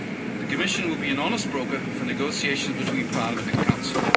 The Commission will be an honest broker for negotiations between Parliament and Council.